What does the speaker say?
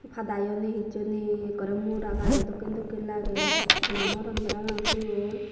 padayo nei hissu nei ekkorey mora gajo dokken dokkey lagey nw moron parapang siyun.